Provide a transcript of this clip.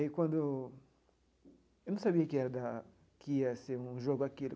E quando eu não sabia que ia dar que ia ser um jogo aquilo.